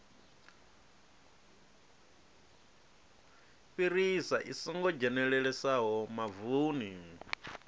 fhirisa i songo dzhenelelesaho mavuni